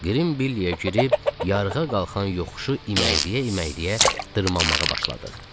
Qrim Billy-ə girib yarığa qalxan yoxuşu iməkləyə-iməkləyə dırmaşmağa başladıq.